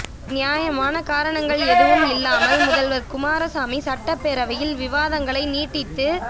நியாயமான காரணங்கள் எதுவும் இல்லாமல் முதல்வர் குமாரசாமி சட்டப்பேரவையில் விவாதங்களை நீட்டித்து